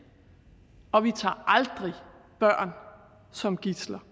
og vi tager aldrig børn som gidsler